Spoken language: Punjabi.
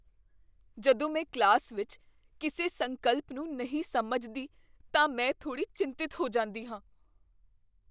ਜਦੋਂ ਮੈਂ ਕਲਾਸ ਵਿੱਚ ਕਿਸੇ ਸੰਕਲਪ ਨੂੰ ਨਹੀਂ ਸਮਝਦੀ ਤਾਂ ਮੈਂ ਥੋੜ੍ਹੀ ਚਿੰਤਤ ਹੋ ਜਾਂਦੀ ਹਾਂ।